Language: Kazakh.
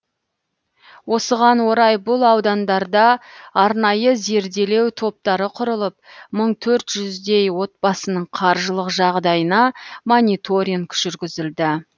осыған орай бұл аудандарда арнайы зерделеу топтары құрылып мың төрт жүздей отбасының қаржылық жағдайына мониторинг жүргізілді